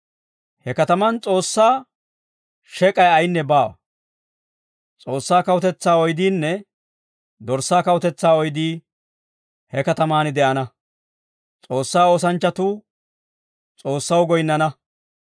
He katamaan S'oossaa shek'ay ayinne baawa. S'oossaa kawutetsaa oydiinne Dorssaa kawutetsaa oydii he katamaan de'ana. S'oossaa oosanchchatuu S'oossaw goyinnana.